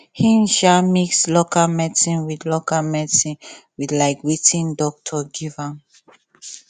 him um mix local medicine with local medicine with um watin doctor give am